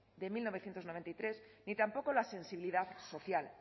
de mil novecientos noventa y tres ni tampoco la sensibilidad social